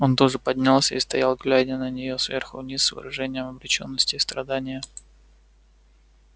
он тоже поднялся и стоял глядя на неё сверху вниз с выражением обречённости и страдания